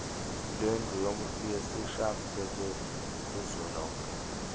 lendlu yesishayamthetho kuzwelonke